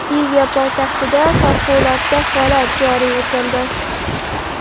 Liviya poytaxtida favqulodda holat joriy etildi.